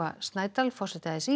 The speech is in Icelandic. Snædal forseti a s í